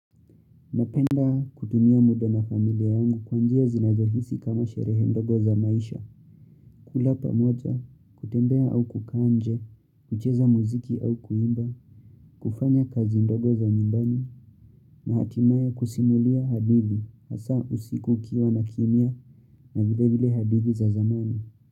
Napenda kutumia muda na familia yangu kwanjia zinazohisi kama sherehe ndogo za maisha. Kula pamoja, kutembea au kukaa nje, kucheza muziki au kuimba, kufanya kazi ndogo za nyumbani, na hatimaye kusimulia hadithi, hasa usiku ukiwa na kimia na vile vile hadithi za zamani.